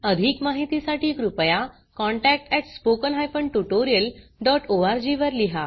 अधिक माहितीसाठी कृपया contact at spoken hyphen tutorial dot O R G वर लिहा